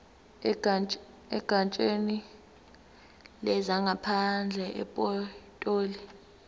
egatsheni lezangaphandle epitoli